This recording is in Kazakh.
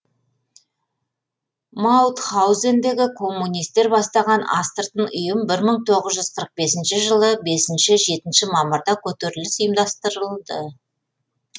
маутхаузендегі коммунистер бастаған астырытын ұйым бір мың тоғыз жүз қырық бесінші жылы бесінші жетінші мамырда көтеріліс ұйымдастырылды